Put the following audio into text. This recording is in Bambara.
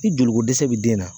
Ni joli ko dɛsɛ bi den na